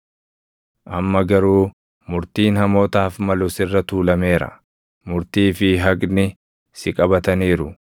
Amma garuu murtiin hamootaaf malu sirra tuulameera; murtii fi haqni si qabataniiru.